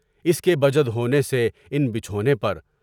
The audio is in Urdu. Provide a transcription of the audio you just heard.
اس کے بجد ہونے سے ان بچوں پر۔